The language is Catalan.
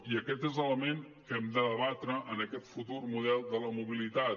i aquest és l’element que hem de debatre en aquest futur model de la mobilitat